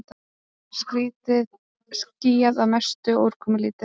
Skýjað að mestu og úrkomulítið